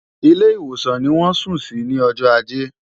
Ilé ìwòsàn ni wọ́n sùn sí ní ọjọ́ ajé.